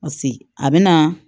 Paseke a bɛ na